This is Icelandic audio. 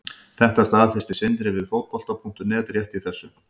Þetta staðfesti Sindri við Fótbolta.net rétt í þessu.